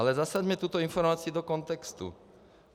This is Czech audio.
Ale zasaďme tuto informaci do kontextu.